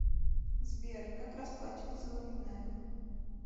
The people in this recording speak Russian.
сбер как расплачиваться во вьетнаме